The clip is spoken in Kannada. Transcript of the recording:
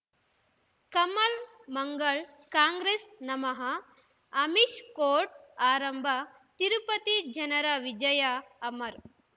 ಕಮಲ್ ಮಂಗಳ್ ಕಾಂಗ್ರೆಸ್ ನಮಃ ಅಮಿಷ್ ಕೋರ್ಟ್ ಆರಂಭ ತಿರುಪತಿ ಜನರ ವಿಜಯ ಅಮರ್